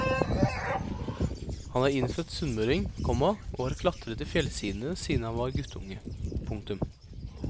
Han er innfødt sunnmøring, komma og har klatret i fjellsidene siden han var guttunge. punktum